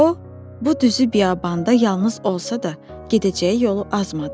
O bu düzü biyabanda yalnız olsa da, gedəcəyi yolu azmadı.